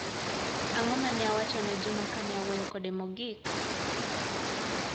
Ag'o mane ne awacho ne juma kane awuoyo kode mogik?